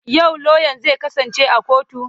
Yau lauyan zai kasance a kotu?